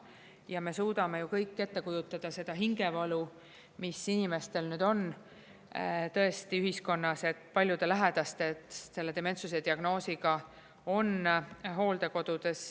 Ja me suudame ju kõik ette kujutada seda hingevalu, mis inimestel nüüd on tõesti ühiskonnas, et paljude lähedased selle dementsuse diagnoosiga, on hooldekodudes.